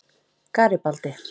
Garibaldi